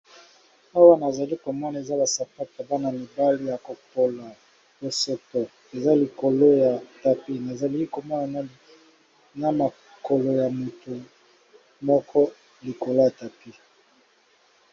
Awa azali komona eza ba sapatu ya bana mibali ya kopola bosoto, eza likolo ya tapis nazali komona na mokolo ya motu moko likolo ya tapis.